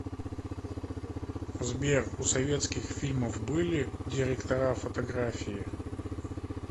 сбер у советских фильмов были директора фотографии